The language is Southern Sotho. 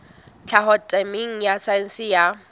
tlhaho temeng ya saense ya